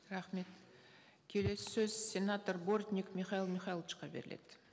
рахмет келесі сөз сенатор бортник михаил михайловичке беріледі